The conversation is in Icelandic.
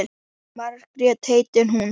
Margrét heitir hún.